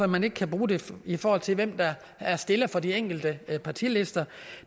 man ikke kan bruge det i forhold til hvem der er stillere for de enkelte partilister